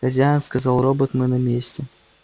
хозяин сказал робот мы на месте